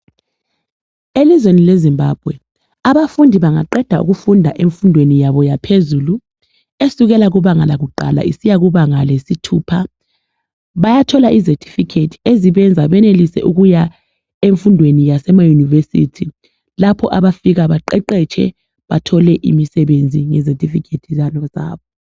Elizweni le Zimbabwe abafundi bengaqeda ukufunda emfundweni yabo yaphezulu esukela kubanga lakuqala isiyakubanga lesithupha bayathola izetifikhethi ezibenza benelise ukuya emfundweni yasema university lapho abafika baqeqetshe khona bathole imisebenzi ngezetifikhethi zabo.